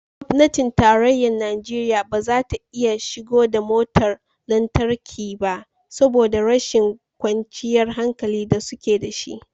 Gwamnatin tarayyar Najeriya ba za ta iya shigo da motar lantarki ba saboda rashin kwanciyar hankali da suke da shi